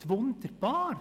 Das geht wunderbar.